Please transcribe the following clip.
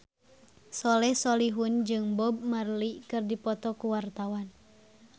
Soleh Solihun jeung Bob Marley keur dipoto ku wartawan